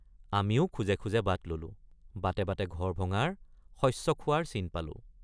আমিও খোজে খোজে বাট ললোঁ বাটে বাটে ঘৰ ভঙাৰ শস্য খোৱাৰ চিন পালোঁ।